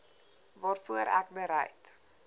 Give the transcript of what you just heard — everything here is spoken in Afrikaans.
waarvoor ek bereid